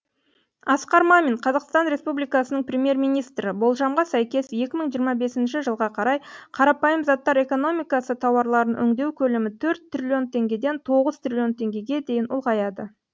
асқар мамин қазақстан республикасының премьер министрі болжамға сәйкес екі мың жиырма бесінші жылға қарай қарапайым заттар экономикасы тауарларын өңдеу көлемі төрт триллион теңгеден тоғыз триллион теңгеге дейін ұлғаяды